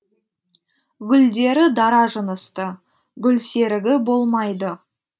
гүлдері дара жынысты гүлсерігі болмайды